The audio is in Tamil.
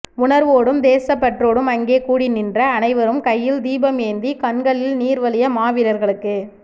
உணர்வோடும் தேசப்பற்றோடும் அங்கே கூடிநின்ற அனைவரும் கையில் தீபம் ஏந்தி கண்களில் நீர்வழிய மாவீரர்களுக்கு